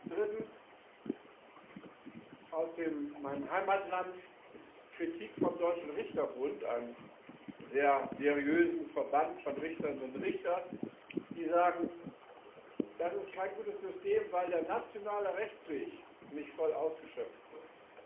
Drittens Aus meinem Heimatland gibt es Kritik vom Deutschen Richterbund, einem sehr seriösen Verband von Richterinnen und Richtern, die sagen Das ist kein gutes System, weil der nationale Rechtsweg nicht voll ausgeschöpft wird.